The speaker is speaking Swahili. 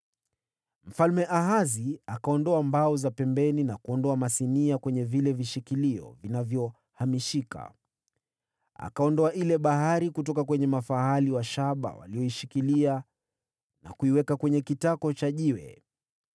Mfalme Ahazi akaondoa mbao za pembeni na kuondoa masinia kwenye vile vishikilio vilivyohamishika. Akaondoa ile Bahari kutoka kwenye mafahali wa shaba walioishikilia, na kuiweka kwenye kitako cha jiwe.